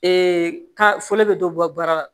ka fɔ ne bɛ dɔ bɔ baara la